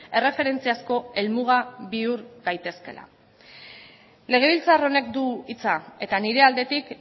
erreferentziazko helmuga bihur gaitezkeela legebiltzar honek du hitza eta nire aldetik